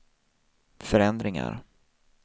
förändringar